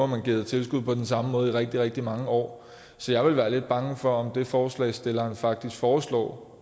man givet tilskud på den samme måde i rigtig rigtig mange år så jeg ville være lidt bange for at det som forslagsstillerne faktisk foreslår